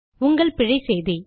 உங்கள் பிழை செய்தி